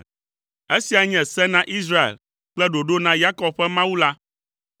Esia nye se na Israel kple ɖoɖo na Yakob ƒe Mawu la.